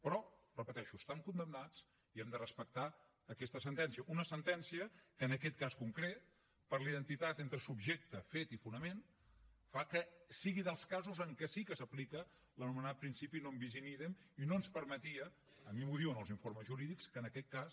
però ho repeteixo estan condemnats i hem de respectar aquesta sentència una sentència que en aquest cas concret per la identitat entre subjecte fet i fonament fa que sigui dels casos en què sí que s’aplica l’anomenat principi non bis in idem i no ens permetia a mi m’ho diuen els informes jurídics que en aquest cas